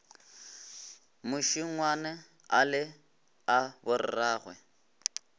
mašengwana a le a borragwe